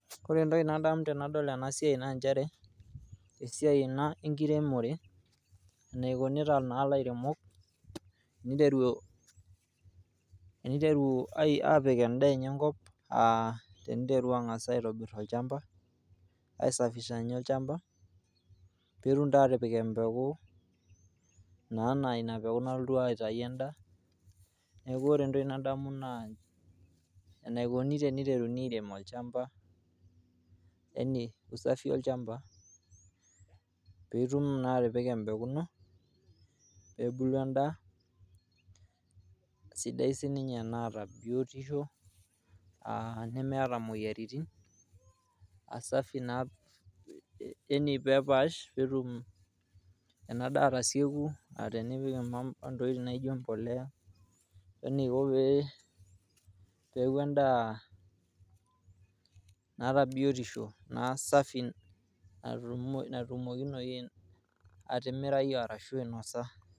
Ore entoki nadamu tanadol enasiai naa nchere, esiai ena enkiremore peiteru apik endaa enye enkop aa ai safisha nye olchamba netumoki atipik empeku na ina peku nalotu aotau endaa neaku ore entoki nadamu naa enikuni peiteruni arem olchamba peitum naa atipika empeku ino ,peepuku endaa sidai sinye e nemeta moyiaritin safi peepash petum ena daa atasieku peipik entoki nijo embolea pe peaku endaa naata biotisho naa safi petumokinoi atimirai ashu ainasa .